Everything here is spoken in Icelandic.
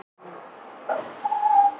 Það er í vörslu Stofnunar Árna Magnússonar.